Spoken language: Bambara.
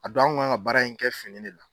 A don an kun k'an ka baara in kɛ fini de la.